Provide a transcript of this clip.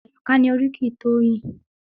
Àyọ̀ká ni oríkì Toyin.